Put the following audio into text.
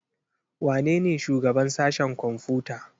Wanene shugaban sashen kwamfuta?